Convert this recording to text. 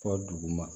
Fɔ duguma